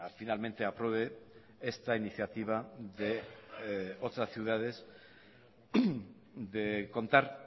finalmente apruebe esta iniciativa de otras ciudades de contar